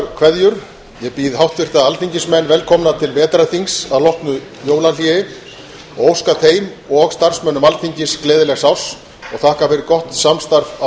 kveðjur ég býð háttvirta alþingismenn velkomna til vetrarþings að loknu jólahléi og óska þeim og starfsmönnum alþingis gleðilegs árs og þakka fyrir gott samstarf á